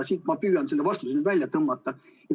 Ma püüan selle vastuse nüüd ka välja tõmmata.